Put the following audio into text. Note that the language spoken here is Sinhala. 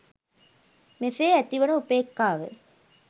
මෙසේ ඇතිවන උපේක්ඛාව